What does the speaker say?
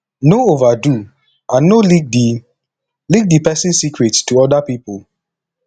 no overdo and no leak di leak di person secret to oda people